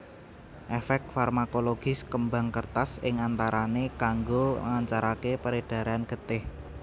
Efek farmakologis kembang kertas ing antarane kanggo nglancarake peredaran getih